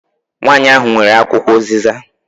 Nwanyi ahụ nwere akwụkwọ uziza.